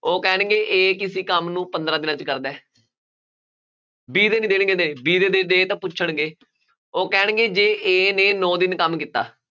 ਉਹ ਕਹਿਣਗੇ a ਕਿਸੇ ਕੰਮ ਨੂੰ ਪੰਦਰਾਂ ਦਿਨਾਂ 'ਚ ਕਰਦਾ ਹੈ b ਦੇ ਨੀ ਦੇਣਗੇ day b day ਤਾਂ ਪੁੱਛਣਗੇ, ਉਹ ਕਹਿਣਗੇ ਜੇ a ਨੇ ਨੋਂ ਦਿਨ ਕੰਮ ਕੀਤਾ